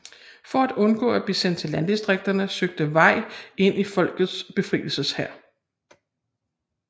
For at undgå at blive sendt til landdistrikterne søgte Wei ind i Folkets befrielseshær